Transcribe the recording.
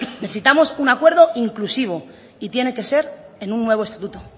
necesitamos un acuerdo inclusivo y tiene que ser en un nuevo estatuto